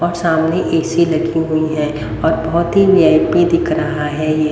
अब सामने ऐ_सी लगी हुई है और बहुत ही वी_आई_पी दिख रहा है ये।